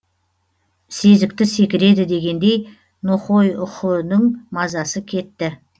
сезікті секіреді дегендей нохойхүүдің мазасы кетті